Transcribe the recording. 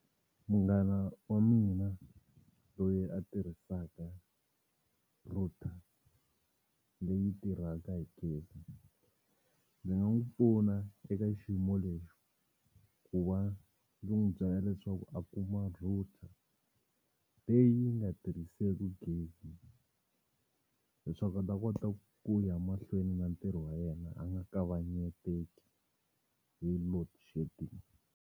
Munghana wa mina loyi a tirhisaka router leyi tirhaka hi gezi ndzi nga n'wi pfuna eka xiyimo lexi ku va ni n'wi byela leswaku a kuma router leyi yi nga tirhiseki gezi leswaku a ta kota ku ya mahlweni na ntirho wa yena a nga kavanyeteki hi loadshedding.